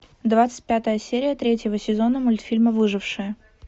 двадцать пятая серия третьего сезона мультфильма выжившие